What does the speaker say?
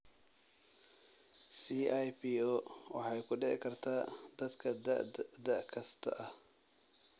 CIPO waxay ku dhici kartaa dadka da' kasta ah.